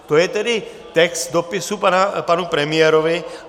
To je tedy text dopisu panu premiérovi.